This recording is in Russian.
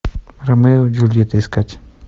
ромео и джульетта искать